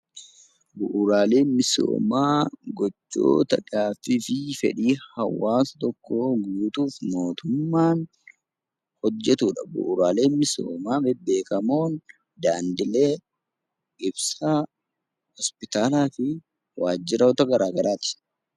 Bu'uuraaleen misoomaa gochoota fedhii hawaasa tokkoo guutuuf mootummaan hojjatudha. Bu'uuraaleen misoomaa beekamoon daandii, ibsaan, hospitaalaa fi waajjiraalee garaagaraati.